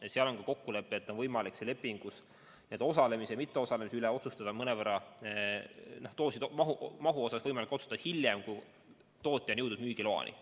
Ja seal on ka kokkulepe, et on võimalik lepingus osalemine või mitteosalemine ja dooside maht otsustada hiljem, kui tootja on jõudnud müügiloani.